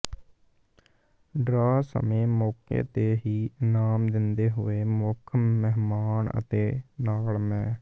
draw ਸਮੇ ਮੌਕੇ ਤੇ ਹੀ ਇਨਾਮ ਦਿੰਦੇਂ ਹੋਏ ਮੁਖ ਮਹਿਮਾਨ ਅਤੇ ਨਾਲ ਮੈ